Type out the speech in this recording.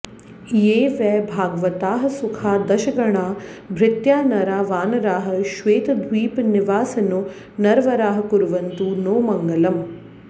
ये वै भागवताः सुखा दशगणा भृत्या नरा वानराः श्वेतद्वीपनिवासिनो नरवराःकुर्वन्तु नो मङ्गलम्